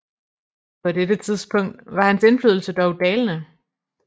På dette tidspunkt var hans indflydelse dog dalende